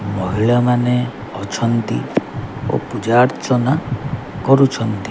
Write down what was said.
ମହିଳା ମାନେ ଅଛନ୍ତି ଓ ପୂଜା ଅର୍ଚ୍ଚନା କରୁଛନ୍ତି।